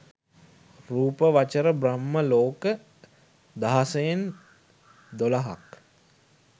රූපාවචර බ්‍රහ්මලෝක දහසයෙන් දොළහක්.